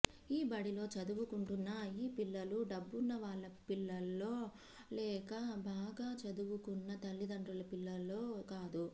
ఈ బడిలో చదువుకుంటున్న ఈ పిల్లలు డబ్బున్న వాళ్ల పిల్లలో లేక బాగా చదువుకున్న తల్లిదండ్రుల పిల్లలో కాదు